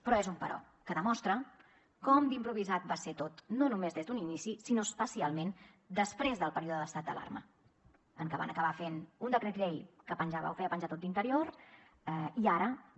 però és un però que demostra com d’improvisat va ser tot no només des d’un inici sinó especialment després del període d’estat d’alarma en què van acabar fent un decret llei que penjava o ho feia penjar tot d’interior i ara no